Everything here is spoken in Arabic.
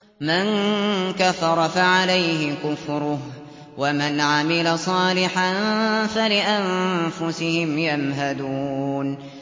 مَن كَفَرَ فَعَلَيْهِ كُفْرُهُ ۖ وَمَنْ عَمِلَ صَالِحًا فَلِأَنفُسِهِمْ يَمْهَدُونَ